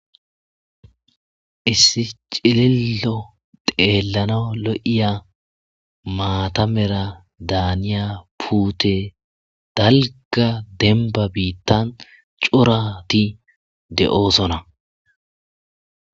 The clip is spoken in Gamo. Issi cililo xeelanaw lo7iya, maata mala daaniya puutey dalgga dembba biitan corati de7oosona.